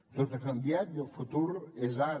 tot ha canviat i el futur és ara